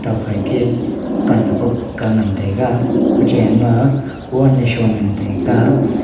nokfai ke pan ak ga ngan taga kuchen ma wol shon ngan taiga.